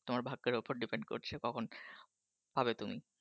তোমার ভাগ্যের উপর Depend করছে কখন হবে তুমি।